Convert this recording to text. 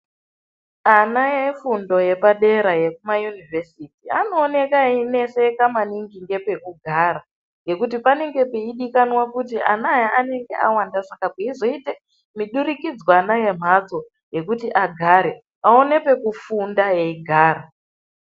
Ana efundo yepadera yekuma Univhesiti anooneka eineseka maningi ngepekugara ngekuti panenge peidikanwa kuti ana aya anenge awanda Saka peizoite muidurikidzanwa yemhatso ngekuti agare aone pekufunda eigara.